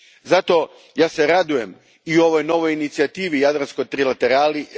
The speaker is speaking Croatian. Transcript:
Zato, ja se radujem i ovoj novoj inicijativi, jadranskoj trilaterali.